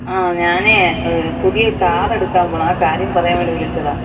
ഞാനേ പുതിയ കാറ് എടുക്കാമ്പോണ്. ആ കാര്യം പറയാൻ വേണ്ടി വിളിച്ചതാ.